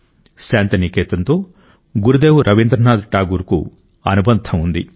శాంతి నికేతన్తో గురుదేవ్ రవీంద్రనాథ్ ఠాగూర్ కు అనుబంధం ఉంది